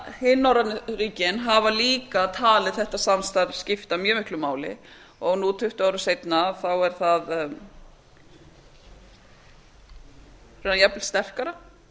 hin norrænu ríkin hafa líka talið þetta samstarf skipta mjög miklu máli og nú tuttugu árum seinna er það jafnvel sterkara